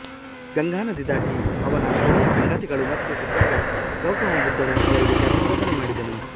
ಗಂಗಾ ನದಿ ದಾಟಿ ಅವನ ಹಳೆಯ ಸಂಗಾತಿಗಳು ಮತ್ತೆ ಸಿಕ್ಕಾಗ ಗೌತಮ ಬುದ್ಧನು ಅವರಿಗೆ ಧರ್ಮ ಬೋಧನೆ ಮಾಡಿದನು